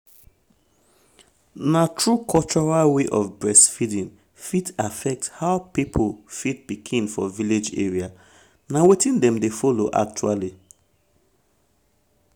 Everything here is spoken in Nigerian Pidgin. na true cultural way of breastfeeding fit affect how people feed pikin for village area um na wetin dem dey follow actually.